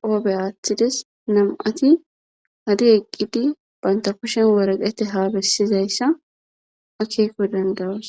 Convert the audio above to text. qoofe aaththides nam'ati hadi eqqidi banta kushshen waraqete habessizayssa akeeko dandoos